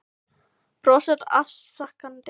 Brosir afsakandi þegar ljósmóðir kemur í flasið á þeim.